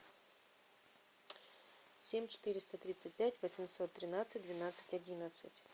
семь четыреста тридцать пять восемьсот тринадцать двенадцать одиннадцать